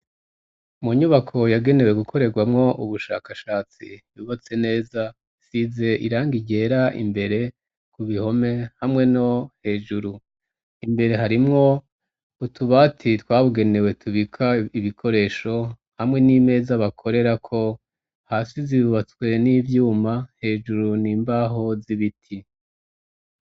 Mu nyubako yagenewe gukorerwamwo ubushakashatsi yubatse neza isize iranga ryera imbere ku bihome hamwe no hejuru imbere harimwo utubati twabugenewe tubika ibikoresho hamwe n'imeza bakorera ko hasi zibatswe n'ivyuma hejuru n'imbaho z'ibiti.